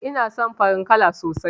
Ina son farin kala sosai ma